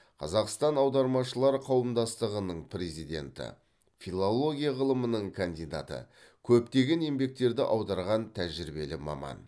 қазақстан аудармашылары қауымдастығының президенті филология ғылымының кандидаты көптеген еңбектерді аударған тәжірибелі маман